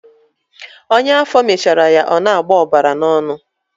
Ọnya afọ mechara ya ọ na-agbọ ọbara n'ọnụ.